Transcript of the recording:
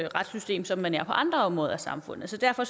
retssystem som man er på andre områder i samfundet så derfor